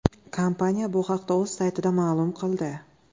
Kompaniya bu haqda o‘z saytida ma’lum qildi.